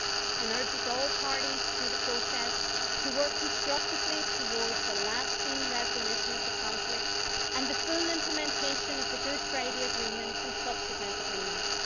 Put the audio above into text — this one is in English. It urges all parties to the process to work constructively towards a lasting resolution of the conflict and the full implementation of the Good Friday Agreement and subsequent agreements'.